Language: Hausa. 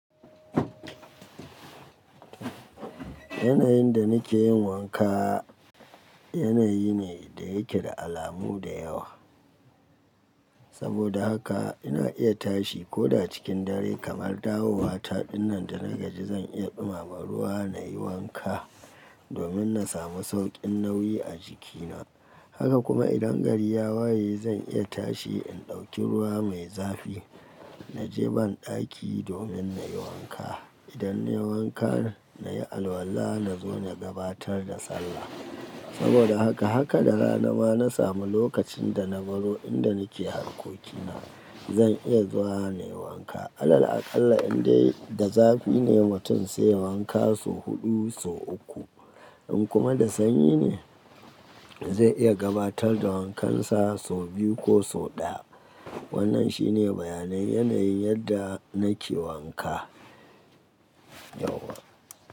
Yanayin da nake yin wanka yanayi ne da yake da alamu da yawa. Saboda haka ina iya tashi, ko da cikin dare kamar dawowa taɗin nan da na gaji zan iya ɗumama ruwa nayi wanka domin na samu sauƙin nauyi a jikina. Haka kuma idan gari ya waye zan iya tashi in ɗauki ruwa mai zafi, na je banɗaki domin nayi wanka. Idan nayi wanka nayi alwala na zo na gabatar da sallah. Saboda haka, haka da rana ma na samu lokacin da na baro inda nake hankokina zan iya zuwa nayi wanka. Allah aƙalla indai da zafi ne, mutum sai wanka sau huɗu sau uku. In kuma da sanyi ne zai iya gabatar da wankansa sau biyu ko sau ɗaya. Wannan shine bayanin yanayin yadda nake wanka, yauwa.